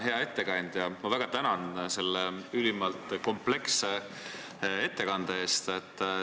Hea ettekandja, ma väga tänan selle ülimalt kompleksse ettekande eest!